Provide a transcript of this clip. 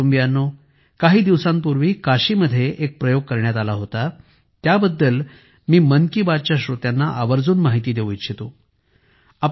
माझ्या कुटुंबियांनोकाही दिवसांपूर्वी काशीमध्ये एक प्रयोग करण्यात आला होता त्याबद्दल मी मन की बातच्या श्रोत्यांना आवर्जून माहिती देऊ इच्छितो